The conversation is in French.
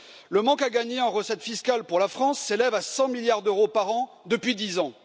Le manque à gagner en recettes fiscales pour la France s'élève à 100 milliards d'euros par an depuis dix ans.